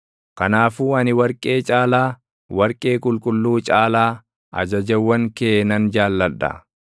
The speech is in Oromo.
Kanaafuu ani warqee caalaa, warqee qulqulluu caalaa, ajajawwan kee nan jaalladha;